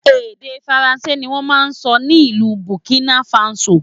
Èdè Faransé ni wọ́n máa ń sọ ní ìlú Burkina Faso